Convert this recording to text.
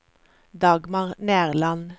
Dagmar Nerland